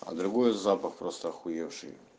а другой запах просто ахуевший